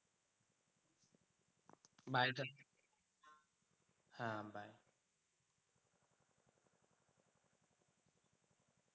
হ্যাঁ bye.